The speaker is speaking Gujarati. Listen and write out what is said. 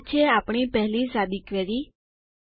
તો આ છે આપણી પહેલી સાદી ક્વેરી